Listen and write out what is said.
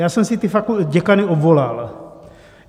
Já jsem si ty děkany obvolal.